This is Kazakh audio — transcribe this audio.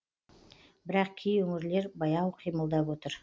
бірақ кей өңірлер баяу қимылдап отыр